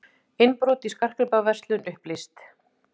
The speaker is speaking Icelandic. Innbrot í skartgripaverslun upplýst